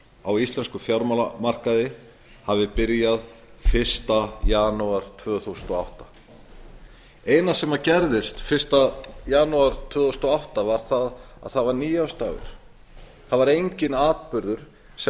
á íslenskum fjármálamarkaði hafi byrjað fyrsta janúar tvö þúsund og átta það eina sem gerðist fyrsta janúar tvö þúsund og átta var að það var nýársdagur það var enginn atburður sem